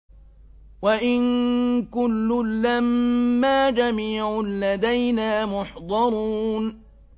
وَإِن كُلٌّ لَّمَّا جَمِيعٌ لَّدَيْنَا مُحْضَرُونَ